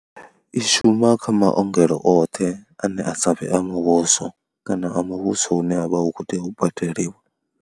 I shuma kha maongelo oṱhe ane a sa vhe a muvhuso kana a muvhuso une wa vha u khou tea u badeliwa.